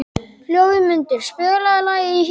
Hlöðmundur, spilaðu lagið „Í hjarta mér“.